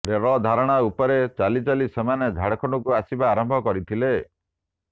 ରେଳଧାରଣା ଉପରେ ଚାଲି ଚାଲି ସେମାନେ ଝାଡ଼ଖଣ୍ଡକୁ ଆସିବା ଆରମ୍ଭ କରିଥିଲେ